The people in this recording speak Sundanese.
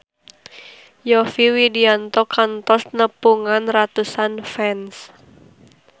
Yovie Widianto kantos nepungan ratusan fans